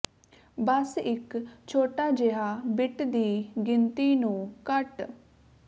ਬਸ ਇੱਕ ਛੋਟਾ ਜਿਹਾ ਬਿੱਟ ਦੀ ਗਿਣਤੀ ਨੂੰ ਘੱਟ